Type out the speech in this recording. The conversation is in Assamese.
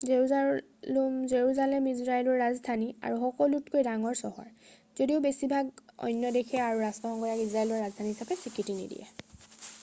জেৰুজালেম ইজৰাইলৰ ৰাজধানী আৰু সকলোতকৈ ডাঙৰ চহৰ যদিও বেছিভাগ অন্য দেশে আৰু ৰাষ্ট্ৰসংঘই ইয়াক ইজৰাইলৰ ৰাজধানী হিচাপে স্বীকৃতি নিদিয়ে